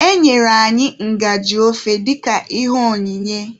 E nyere anyị ngajị ofe dịka ihe onyinye.